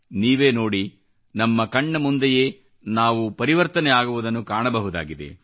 ನೀವೇ ನೋಡಿ ನಮ್ಮ ಕಣ್ಣ ಮುಂದೆಯೇ ನಾವು ಪರಿವರ್ತನೆ ಆಗುವುದನ್ನು ಕಾಣಬಹುದಾಗಿದೆ